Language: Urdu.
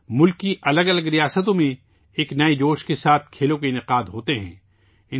آج ملک کی مختلف ریاستوں میں ایک نئے جوش و جذبے کے ساتھ کھیلوں کے انعقاد ات ہوتے ہیں